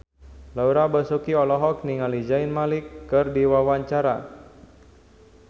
Laura Basuki olohok ningali Zayn Malik keur diwawancara